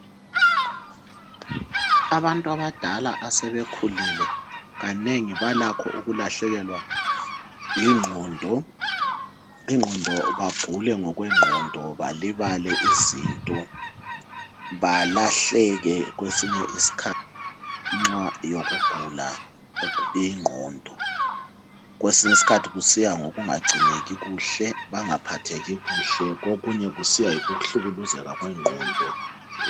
Abantu abadala asebekhulile, kanengi balakho ukulahlekelwa yingqondo, bagule ngokwengqondo balibale izinto, balahleke kwesinye isikhathi ngenxa yokugula ingqondo. Kwesinye isikhathi kusiya ngokungangcineki kuhle, bengaphatheki kuhle, okunye kusiya ngokuhlukuluzeka kwengqondo.